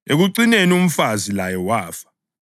Ekucineni umfazi laye wafa.